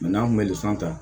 n'an kun bɛ san tan